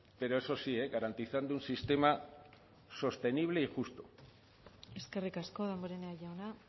pero eso sí garantizando un sistema sostenible y justo eskerrik asko damborenea jauna